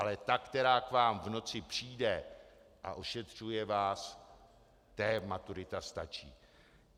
Ale ta, která k vám v noci přijde a ošetřuje vás, té maturita stačí.